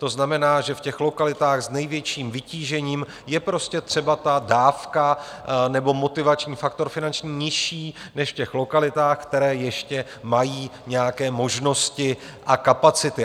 To znamená, že v těch lokalitách s největším vytížením je prostě třeba ta dávka nebo motivační faktor finanční nižší než v těch lokalitách, které ještě mají nějaké možnosti a kapacity.